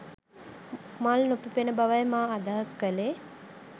මල් නොපිපෙන බවයි මා අදහස් කලේ